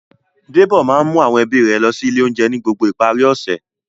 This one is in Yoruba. Débò máa ń mú àwọn ẹbí rẹ̀ lọ sí ilé-oúnjẹ ni gbogbo ìparí ọ̀sẹ̀.